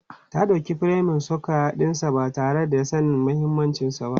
Ta dauki furemin sukwaya ɗinsa ba tare da sanin mahimmancinsa ba.